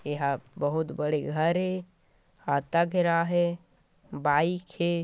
एहा बहुत बड़े घर हे हाता घेराय हे बाइक हे।